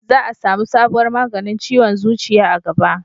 za a samu sabuwar maganin ciwon zuciya a gaba